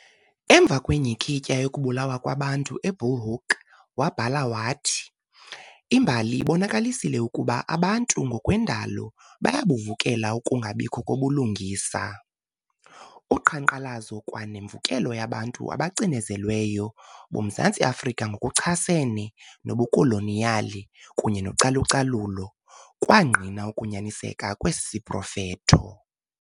Emva kwenyhikityha yokubulawa kwabantu e-Bulhoek wabhala wathi- "Imbali ibonakalisile ukuba abantu ngokwendalo bayabuvukela ukungabikho kobulungisa". Uqhankqalazo kwa nemvukelo yabantu abacinezelweyo boMzantsi Afrika ngokuchasene nobukoloniyali kunye nocalu-calulo kwangqina ukunyaniseka kwesi siprofetho.